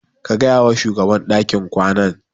Ka gaya wa shugaban dakin kwanan.